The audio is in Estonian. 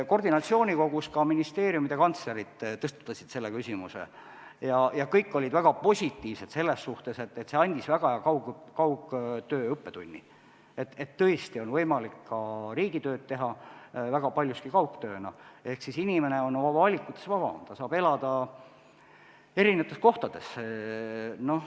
Koordinatsioonikogus ministeeriumide kantslerid tõstatasid selle küsimuse ja kõik olid väga positiivsed selles suhtes, et see andis väga hea kaugtöö õppetunni, et tõesti on võimalik ka riigitööd teha väga paljuski kaugtööna ehk inimene on oma valikutes vabam, ta saab elada eri kohtades.